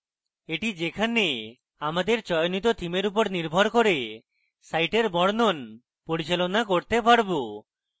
এটি যেখানে আমাদের চয়নিত থিমের উপর নির্ভর করে সাইটের বর্ণন পরিচালনা করতে পারবো